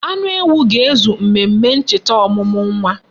Anu ewu ga-ezu mmemme ncheta omumu nwa.